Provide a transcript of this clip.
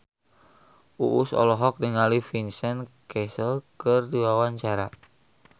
Uus olohok ningali Vincent Cassel keur diwawancara